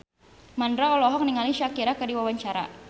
Mandra olohok ningali Shakira keur diwawancara